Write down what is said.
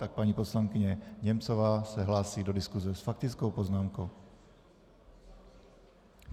Tak, paní poslankyně Němcová se hlásí do diskuze s faktickou poznámkou.